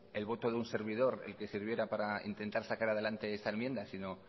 el voto de un servidor el que sirviera para intentar sacar adelante esta enmienda sino